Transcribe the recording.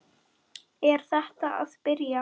Er þetta að byrja?